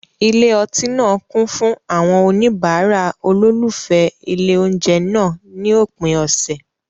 Ilé ọtí náà kún fún àwọn oníbàárà olólùfẹ́ ilé oúnjẹ náà ní òpin ọ̀sẹ̀.